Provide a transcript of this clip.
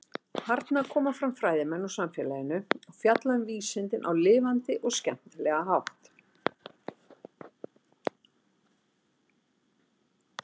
Þarna koma fram fræðimenn úr samfélaginu og fjalla um vísindin á lifandi og skemmtilega hátt.